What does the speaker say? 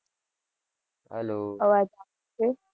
hello અવાજ આવે છે